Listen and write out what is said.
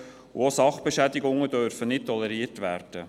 Auch Sachbeschädigungen dürfen nicht toleriert werden.